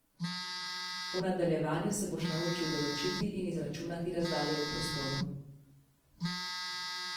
V nadaljevanju se boš naučil določiti in izračunati razdalje v prostoru.